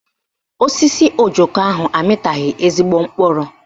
Osisi ojoko ahụ amịtaghị ezigbo mkpụrụ